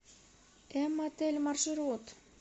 м отель маршрут